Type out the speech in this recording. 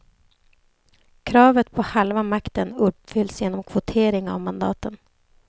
Kravet på halva makten uppfylls genom kvotering av mandaten.